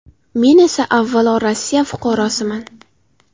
Men esa avvalo Rossiya fuqarosiman.